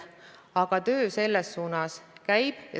Nii et töö selles suunas käib.